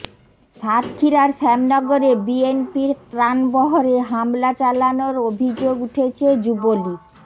সাতক্ষীরার শ্যামনগরে বিএনপির ত্রাণবহরে হামলা চালানোর অভিযোগ উঠেছে যুবলী